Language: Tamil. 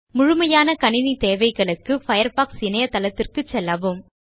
முழுமையான கணிணித் தேவைகளுக்கு பயர்ஃபாக்ஸ் இணையதளத்துக்குச் செல்லவும்